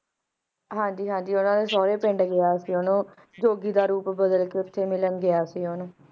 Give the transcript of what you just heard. ਹਨ ਜੀ ਹਨ ਜੀ ਉਡਦੇ ਸਾਰੇ ਪਿੰਡ ਗਯਾ ਸੀ ਜੋਗੀ ਦਾ ਰੂਪ ਬਾਦਲ ਕ ਮਿਲਣ ਗਯਾ ਸੀ ਉਸ ਨੂੰ